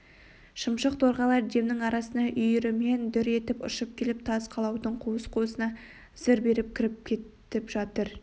шымшық торғайлар демнің арасында үйірімен дүр етіп ұшып келіп тас қалаудың қуыс-қуысына зып беріп кіріп кетіп жатыр